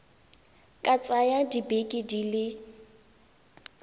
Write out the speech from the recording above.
ka tsaya dibeke di le